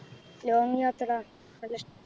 Long യാത്ര നല്ലിഷ്